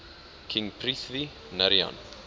king prithvi narayan